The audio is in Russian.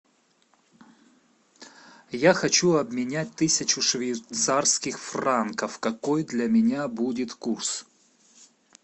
я хочу обменять тысячу швейцарских франков какой для меня будет курс